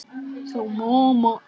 sagði Finnur.